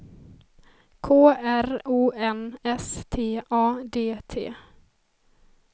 K R O N S T A D T